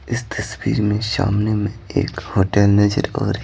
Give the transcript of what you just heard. इस तस्वीर में सामने में एक होटल नजर आरह--